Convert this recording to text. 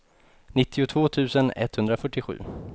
nittiotvå tusen etthundrafyrtiosju